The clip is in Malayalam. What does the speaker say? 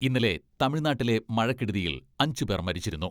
ഇന്നലെ തമിഴ്നാട്ടിലെ മഴക്കെടുതിയിൽ അഞ്ചു പേർ മരിച്ചിരുന്നു.